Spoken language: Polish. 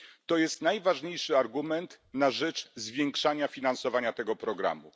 To jest najważniejszy argument na rzecz zwiększania finansowania tego programu.